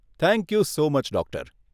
Thank you so much, doctor.